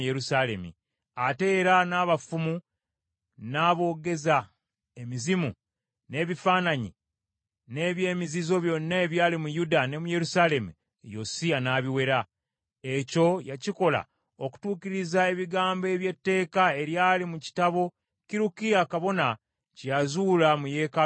Ate era n’abafumu, n’aboogeza emizimu, n’ebifaananyi, n’eby’emizizo byonna ebyali mu Yuda ne mu Yerusaalemi, Yosiya, n’abiwera. Ekyo yakikola okutuukiriza ebigambo eby’etteeka eryali mu kitabo Kirukiya kabona kye yazuula mu Yeekaalu ya Mukama .